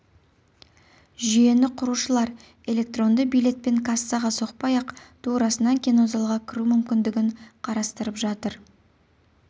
жүйені құрушылар электронды билетпен кассаға соқпай-ақ турасынан кинозалға кіру мүмкіндігін қарастырып жатыр